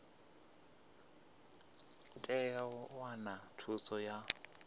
tea u wana thuso ya